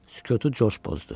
Sükutu Corc pozdu.